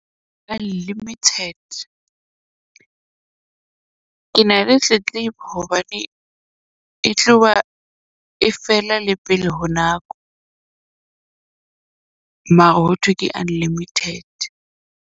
Unlimited ke na le tletlebo hobane e tloha e fela le pele ho nako. Mara ho thwe ke unlimited.